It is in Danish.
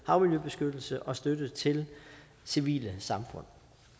havmiljøbeskyttelse og støtte til civile samfund